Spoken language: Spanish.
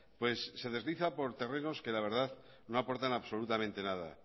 pues se desliza por terrenos que la verdad no aportan absolutamente nada